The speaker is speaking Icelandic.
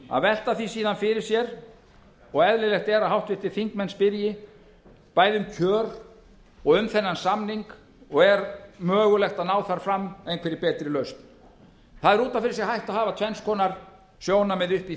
að velta því síðan fyrir sér og eðlilegt er að háttvirtir þingmenn spyrji bæði um kjör og um þennan samning og er mögulegt að ná þar fram einhverri betri lausn það er út af fyrir sig hægt að hafa uppi tvenns konar sjónarmið uppi í